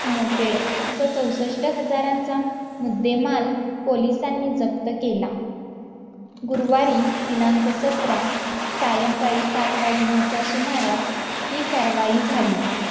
moped असा चौसष्ठ हजारांचा मुद्देमाल पोलिसांनी जप्त केला गुरुवारी दिनांक सत्रा सायंकाळी सात वाजण्याच्या सुमारास ही कारवाई झाली